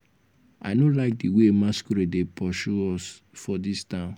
i no like the way masquerade dey pursue us for dis town.